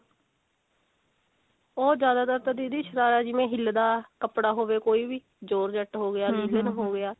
ਉਹ ਜਿਆਦਾਤਰ ਤਾਂ ਦੀਦੀ ਸ਼ਰਾਰਾ ਜਿਵੇਂ ਹਿਲਦਾ ਕੱਪੜਾ ਹੋਵੇ ਕੋਈ ਵੀ georgette ਹੋਗਿਆ ਲਿਨਣ ਹੋ ਗਿਆ